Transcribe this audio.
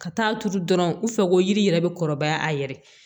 Ka taa turu dɔrɔn u fɛ ko yiri yɛrɛ bɛ kɔrɔbaya a yɛrɛ ye